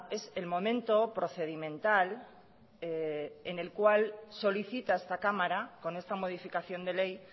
es el momento procedimental en el cual solicita esta cámara con esta modificación de ley